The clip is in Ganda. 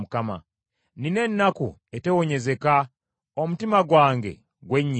Nnina ennaku etewonyezeka, omutima gwange gwennyise.